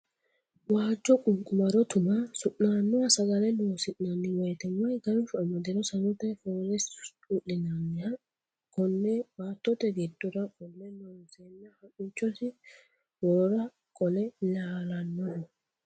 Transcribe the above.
Waajo ququmado tuma sunanoha sagale loosi'nanni woyte woyi ganshu amadiro sanote foolesi u'linaniha kone baattote giddora qolle loonsenna hamichosi worora qolle laalanoho.